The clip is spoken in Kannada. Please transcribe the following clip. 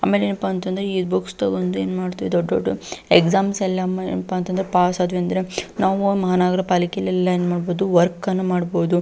ಆಮೇಲೆ ಏನಪ್ಪಾ ಅಂತಂದ್ರ ಈ ಬೂಕ್ಸ್ ತಕೊಂಡು ಏನ್ ಮಾಡ್ತೀವಿ ದೊಡ್ಡ್ ದೊಡ್ಡ್ ಎಕ್ಸಾಮ್ಸ್ ಎಲ್ಲ ಪಾಸ್ ಆದ್ವಿ ಅಂತಂದ್ರ ನಾವು ಮಹಾನಗರ ಪಾಲಿಕೆಯಲ್ಲಿ ಎಲ್ಲ ಏನ್ ಮಾಡಬಹುದು ವರ್ಕ್ ಅನ್ನು ಅನ್ನು ಮಾಡ್ಬಹುದು.